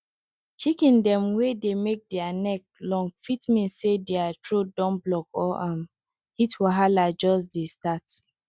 chicken dem wey dey make dere neck long fit mean say dere throat don block or um heat wahala jus dey start